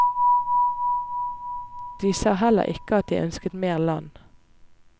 De sa heller ikke at de ønsket mer land.